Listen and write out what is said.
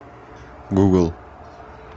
гугл